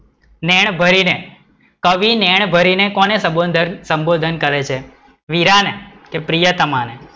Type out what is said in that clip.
નૈન ભરીને, કવિ નૈંન ભરીને કોને સંબોધન સંભોધન કરે છે? વીરા ને કે પ્રિયતમા ને,